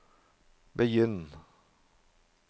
begynn